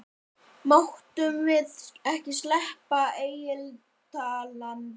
Máttum við ekki sleppa Egiftalandi?